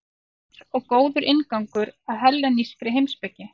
Skýr og góður inngangur að hellenískri heimspeki.